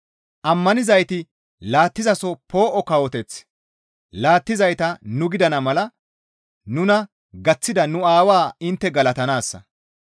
Ammanizayti laattizaso poo7o kawoteth laattizayta nu gidana mala nuna gaththida nu Aawaa intte galatanaassa.